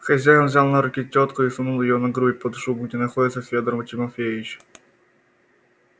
хозяин взял на руки тётку и сунул её на грудь под шубу где находился федор тимофеич